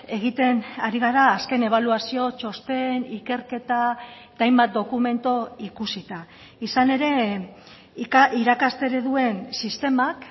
egiten ari gara azken ebaluazio txosten ikerketa eta hainbat dokumentu ikusita izan ere irakaste ereduen sistemak